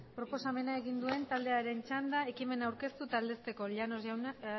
proposamena egin duen taldearen txanda ekimena aurkeztu eta aldezteko llanos